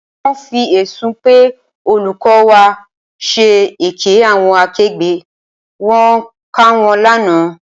Wọ́n fi ẹ̀sùn pé olùkọ́ wa ń ṣe èké àwọn akẹgbẹ́ wọn kàn wọ́n lánàá.